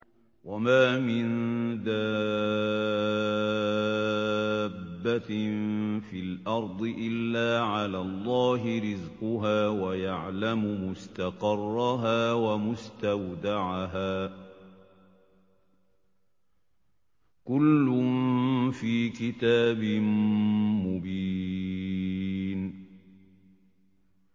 ۞ وَمَا مِن دَابَّةٍ فِي الْأَرْضِ إِلَّا عَلَى اللَّهِ رِزْقُهَا وَيَعْلَمُ مُسْتَقَرَّهَا وَمُسْتَوْدَعَهَا ۚ كُلٌّ فِي كِتَابٍ مُّبِينٍ